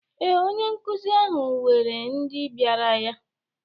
Ee, onye nkụzi ahụ weere ndị bịara ya.